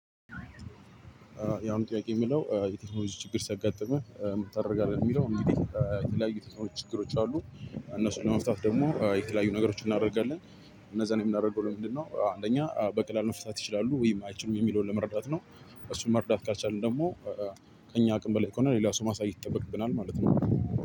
ያሁኑ ጥያቄ የሚለው የቴክኖሎጂ ችግር ሲያጋጥምህ ምን ታደርጋለህ? የሚለው እንግዲህ የተለያዩ ችግሮች አሉ እነሱን ለመፍታት ደግሞ የተለያዩ ነገሮችን እናደርጋለን። እነዛን የምናደርገው ለምንድነው አንደኛ በቀላሉ መፍታት ይችላሉ ወይም አይችሉም የሚለውን ለመረዳት ነው። እሱን መርዳት ካልቻልን ደግሞ ከእኛ አቅም በላይ ከሆነ ሌላ ሰው ማሳየት ይጠበቅብናል። ማለት ነው።